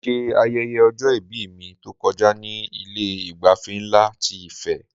Mo ṣe ayẹyẹ ọjọ-ìbí mi tó kọjá ní Ilé ìgbafẹ́ nlá ti Ife